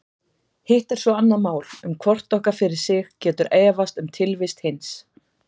Hitt er svo annað mál að hvort okkar fyrir sig getur efast um tilvist hins.